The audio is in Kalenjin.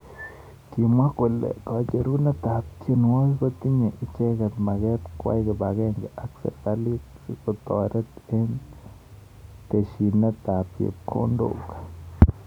kimwa kole kacherunet ab tienwokik kotinye icheket maket kwai kipakenge ak serekalit sikotaret eng teshinet ab chepkondok.